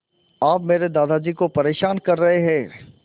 आप मेरे दादाजी को परेशान कर रहे हैं